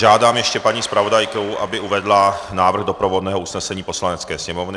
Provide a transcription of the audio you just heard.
Žádám ještě paní zpravodajku, aby uvedla návrh doprovodného usnesení Poslanecké sněmovny.